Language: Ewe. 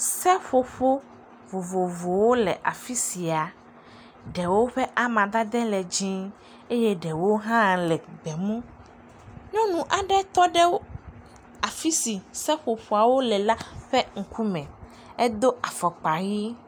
Sɛƒoƒo vovovowo le afi sia, ɖewo ƒe amadadɛ le dziɛ̃eye ɖewo hã le gbemu. Nyɔnu aɖe tɔɖe afi si seƒoƒoawo le la ƒe ŋkume, edo afɔkpa ʋi.